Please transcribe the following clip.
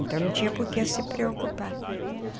Então, não tinha por que se preocupar.